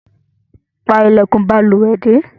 Pa ilèkùn balùwè dé